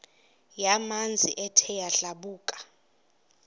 yamanzi ethe yadlabhuka